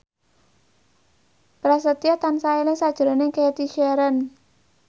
Prasetyo tansah eling sakjroning Cathy Sharon